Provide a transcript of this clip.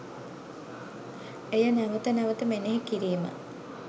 එය නැවත නැවත මෙනෙහි කිරීම